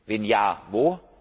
Wenn ja